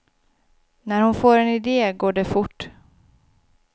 När hon får en idé går det fort.